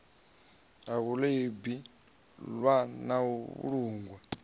ḽeibu ḽwa na u vhulungwa